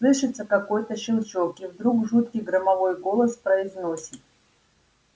слышится какой-то щелчок и вдруг жуткий громовой голос произносит